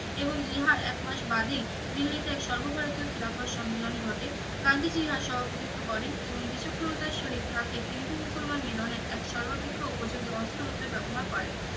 এবং ইহা এক মাস বাদেই দিল্লিতে এক সর্বভারতীয় খিলাফত সম্মিলন ঘটে গান্ধীজি ইহা সভাপতিত্ব করেন এবং বিচক্ষণতার সহিত ইহাকে হিন্দু মুসলমান মিলনের এক সর্বাপেক্ষা উপযোগী অস্ত্র রূপে ব্যবহার করেন